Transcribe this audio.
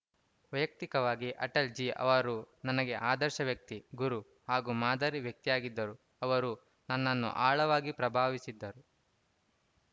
ವೈಯಕ್ತಿಕವಾಗಿ ಅಟಲ್‌ಜೀ ಅವರು ನನಗೆ ಆದರ್ಶ ವ್ಯಕ್ತಿ ಗುರು ಹಾಗೂ ಮಾದರಿ ವ್ಯಕ್ತಿಯಾಗಿದ್ದರು ಅವರು ನನ್ನನ್ನು ಆಳವಾಗಿ ಪ್ರಭಾವಿಸಿದ್ದರು